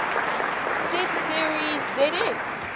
set theory zf